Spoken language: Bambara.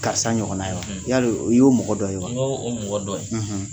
Karisa ɲɔgɔnna ye wa ? yali o i y'o mɔgɔ dɔ ye wa? Ŋoo o mɔgɔ dɔ ye.